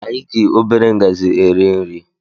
Anyị gị obere ngazi eri nri